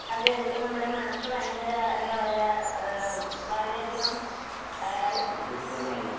അതെ അതെ ഇപ്പോ നമ്മുടെ മനസ്സ് ഭയങ്കര എന്താ പറയ്യ്വാ ആഹ് വളരെയധികം ആഹ്